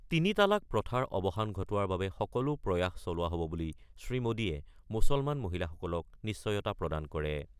তিনি তালাক প্ৰথাৰ অৱসান ঘটোৱাৰ বাবে সকলো প্ৰয়াস চলোৱা হ'ব বুলি শ্ৰীমোডীয়ে মুছলমান মহিলাসকলক নিশ্চয়তা প্ৰদান কৰে।